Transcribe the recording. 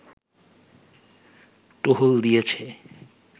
টহল দিয়েছে